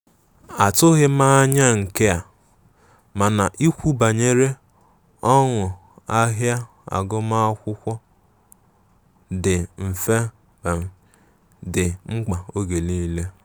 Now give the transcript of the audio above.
Atughi m anya nke a, mana ikwu banyere ọnụ ahịa agụma akwụkwo ndi mfe di mkpa mgbe nile.